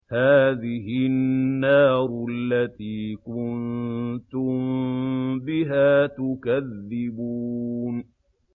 هَٰذِهِ النَّارُ الَّتِي كُنتُم بِهَا تُكَذِّبُونَ